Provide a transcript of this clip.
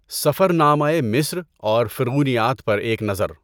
سفرنامۂ مصر اور فرعونیات پر ایک نظر